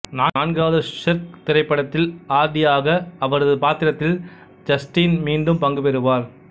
நான்காவது ஷெர்க் திரைப்படத்தில் ஆர்டியாக அவரது பாத்திரத்தில் ஜஸ்டின் மீண்டும் பங்கு பெறுவார்